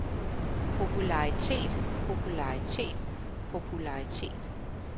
popularitet popularitet popularitet